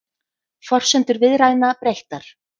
Forsendur viðræðna breyttar